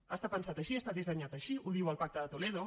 ha estat pensat així ha estat dissenyat així ho diu el pacte de toledo